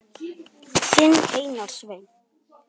Þinn Einar Sveinn.